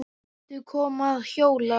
Viltu koma að hjóla?